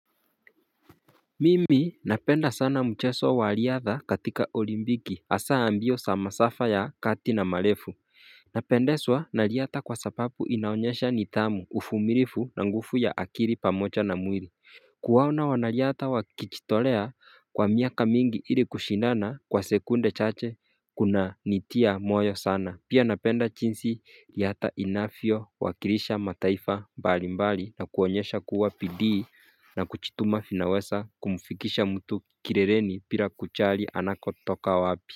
Mimi napenda sana mcheso waliadha katika olimbiki hasa mbio sa masafa ya kati na malefu Napendeswa naliata kwa sapapu inaonyesha nitamu ufumilifu na ngufu ya akiri pamocha na mwiri Kuwaona wanaliata wakichitolea kwa miaka mingi ili kushindana kwa sekunde chache kunanitia moyo sana Pia napenda chinsi riata inafiowakilisha mataifa mbalimbali na kuonyesha kuwa pidi na kuchituma finawesa kumufikisha mtu kirereni pira kuchali anakotoka wapi.